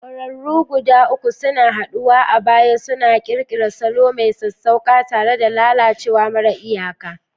Ƙwararru guda uku suna haɗuwa a baya, suna ƙirƙirar salo mai sassauƙa tare da lalacewa mara iyaka.